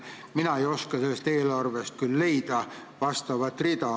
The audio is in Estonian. Mina ei oska sellest eelarvest küll sellekohast rida leida.